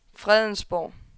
Fredensborg